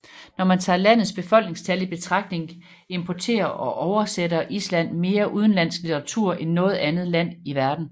Når man tager landets befolkningstal i betragtning importerer og oversætter Island mere udenlandsk litteratur end noget andet land i verden